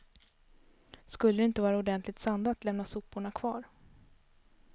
Skulle det inte vara ordentligt sandat lämnas soporna kvar.